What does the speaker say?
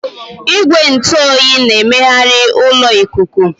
Igwe ntụ oyi na-emegharị ụlọ ikuku.